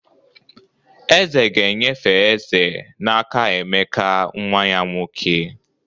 eze ga-enyefe eze n'aka emeka nwa ya nwoke